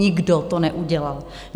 Nikdo to neudělal!